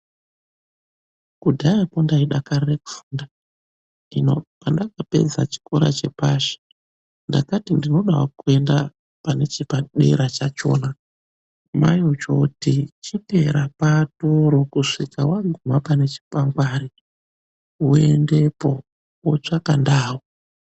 Kudhayako ndaidakarire kufunda. Hino pandakapedza chikora chepashi ndakati ndinodawo kuenda pane chepadera chachona, mai vochooti chiteera patoro kusvika waguma pane chikwangwari, woendepo, wotsvaka ndau.